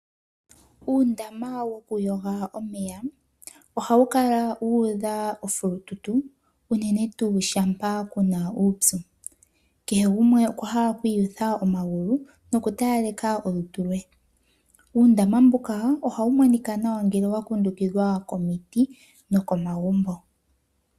Uundama wokuyoga omeya ohawu kala wuudha ofulututu unene tuu shampa ku na uupyu. Kehe gumwe okwa hala okwiiyutha omagulu, nokutalaleka olutu lwe. Uundama mbuka, ohawu monika nawa ngele wa kundukidhwa komiti nokomagumbo.